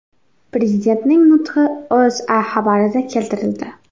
Prezidentning nutqi O‘zA xabarida keltirildi .